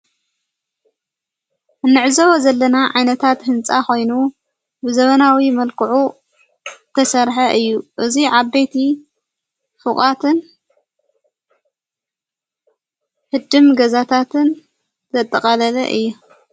እንዕዘዊ ዘለና ዓይነታት ሕንፃ ኾይኑ ብዘበናዊ መልክዑ ተሠርሐ እዩ። እዙይ ዓበይቲ ፍቓትን ሕድም ገዛታትን ዘጠቓለለ እየ።